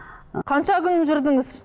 ы қанша күн жүрдіңіз